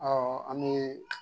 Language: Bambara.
an m'o ye